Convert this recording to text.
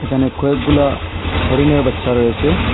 এখানে কয়েকগুলা হরিণের বাচ্চা রয়েসে।